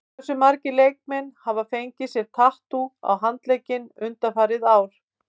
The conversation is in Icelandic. Hversu margir leikmenn hafa fengið sér tattú á handlegginn undanfarið ár?